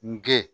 N gɛn